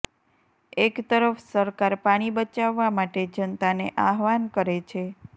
એક તરફ સરકાર પાણી બચાવવા માટે જનતાને આહવાન કરે છે